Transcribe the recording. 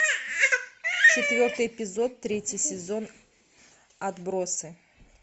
четвертый эпизод третий сезон отбросы